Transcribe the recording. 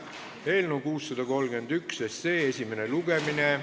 Eelnõu 631 esimene lugemine.